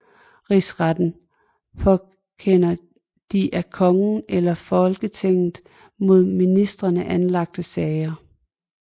Rigsretten påkender de af kongen eller Folketinget mod ministrene anlagte sager